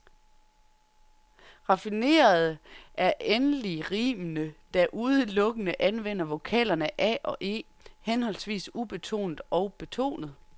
Raffinerede er endelig rimene, der udelukkende anvender vokalerne a og e, henholdsvis ubetonet og betonet.